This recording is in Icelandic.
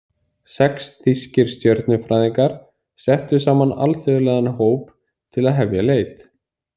Sex þýskir stjörnufræðingar settu saman alþjóðlegan hóp til að hefja leit.